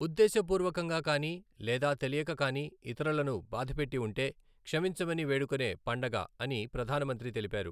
ఉద్దేశ పూర్వకంగా కానీ లేదా తెలియక కానీ ఇతరులను బాధపెట్టి ఉంటే క్షమించమని వేడుకునే పండగ అని ప్రధాన మంత్రి తెలిపారు.